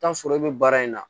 Taa sɔrɔ e bɛ baara in na